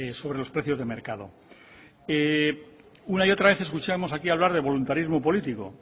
sobre los precios de mercado una y otra vez he escuchamos aquí hablar de voluntarismo político